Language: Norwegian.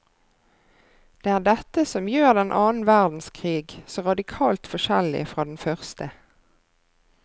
Det er dette som gjør den annen verdenskrig så radikalt forskjellig fra den første.